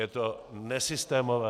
Je to nesystémové.